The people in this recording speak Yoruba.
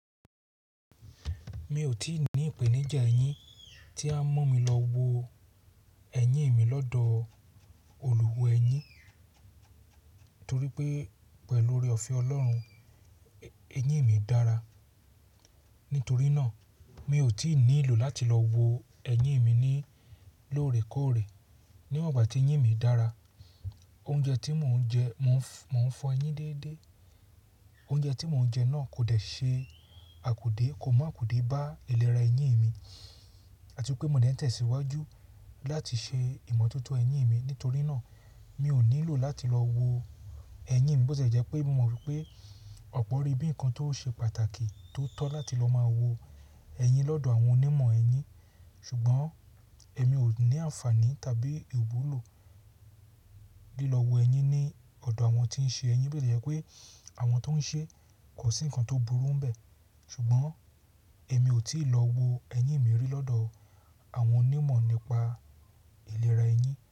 Mi ò tí ì ní ìpèníjà eyín tí a ń mú mi lọ wo ẹyin mi lọ́dọ̀ olùwọ̀ ẹyin torí pé pẹ̀lú oore ọ̀fe Ọlọ́run, eyín mi dára. Nítorí náà, mi ò tí ì nílò láti lọ wo ẹyin mi ní lóòrèkọ́ọ̀rè. Níwọ̀n ìgbà tí eyín mi dára, oúnjẹ tí mò ń jẹ, mò ń fọ ẹyin déédé. Oúnjẹ tí mò ń jẹ náà kò dẹ̀ ṣe àkudé, kò mọ̀ àkudé bá ìlera ẹyin mi àti pé mò dẹ̀ tẹ̀síwájú láti ṣe ìmọ̀tótó eyín mi. Nítorí náà, mi ò nílò láti lọ wo ẹyin mi. Bó tie jẹ́ pé mò rí pé ọ̀pọ̀ rí bí nǹkan tó ṣe pàtàkì tó tọ́ láti lọ máa wo ẹyin lọ́dọ̀ àwọn onímọ̀ ẹyin, ṣùgbọ́n èmi ò ní àǹfààní tàbí ìwúlò lílọ̀ wo ẹyin ní ọ̀dọ̀ àwọn tí ń ṣe ẹyin. Bó ṣe jẹ́ pé àwọn tó ń ṣe kò sí nǹkan tó burú ń bẹ, ṣùgbọ́n èmi ò tí ì lọ wo ẹyin mi rí lọ́dọ̀ àwọn onímọ̀ nípa ìlera ẹyin.